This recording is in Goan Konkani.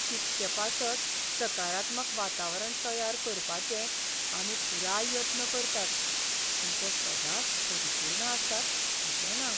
शिकचेपासत सकारात्मक वातावरण तयार करपाचे आमी पुराय यत्न करतात पूण ते सदांच परिपूर्ण असतात अशें ना.